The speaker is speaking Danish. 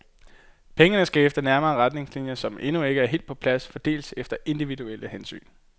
Pengene skal efter nærmere retningslinjer, som endnu ikke er helt på plads, fordeles efter individuelle hensyn.